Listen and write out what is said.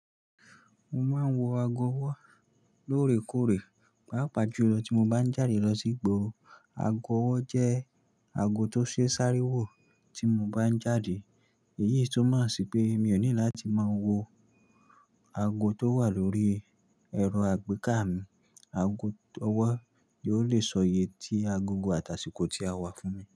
Mo máa ń wọ aago ọwọ́ lóòrèkóòrè, pàápàá jùlọ tí mo bá ń jáde lọ sí igbóoro. Aago ọwọ́ jẹ́ aago tó ṣe sáré wò tí mo bá ń jáde. Èyí tumọ̀ sí pé mi ò ní láti máa wo aago tó wà lórí ẹ̀rọ àgbéká mi. Ago ọwọ́ yóò lè sọ yè tí agogo àtàsíkọ́ tí a wà fún mi.